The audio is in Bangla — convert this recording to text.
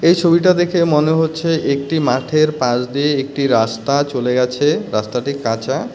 এই ছবিটা দেখে মনে হচ্ছে একটি মাঠের পাশ দিয়ে একটি রাস্তা চলে গেছে রাস্তাটি কাঁচা .